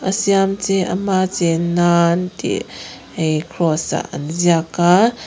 siam che ama chen nan tih hei kraws ah an ziak a.